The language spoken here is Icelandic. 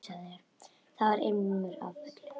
Þar var ilmur af öllu.